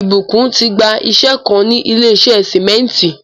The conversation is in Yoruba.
Ìbùkún ti gbà íṣẹ̀ kàn ni ilẹ̀ ìṣẹ̀ símẹ̀ntì.